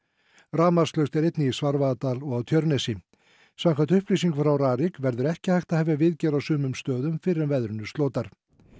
rafmagnslaust er einnig í Svarfaðardal og á Tjörnesi samkvæmt upplýsingum frá Rarik verður ekki hægt að hefja viðgerð á sumum stöðum fyrr en veðrinu slotar